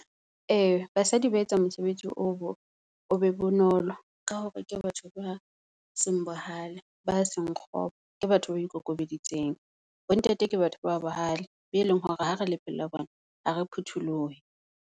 Ee, basadi ba etsa mosebetsi o be bonolo ka hore ke batho ba seng bohale, ba seng kgopo, ke batho ba ikokobeditseng. Bontate ke batho ba bohale beleng hore ha re le pela bona ha re phutholohe.